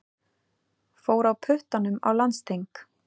Fór á puttanum á landsþing